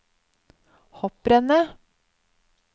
hopprennet